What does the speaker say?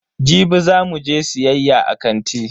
Jibi za mu je siyayya a kanti.